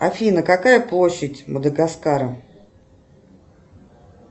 афина какая площадь мадагаскара